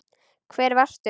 Hvar varstu?